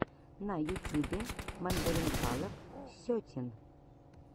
на ютюбе мандаринкалов сетин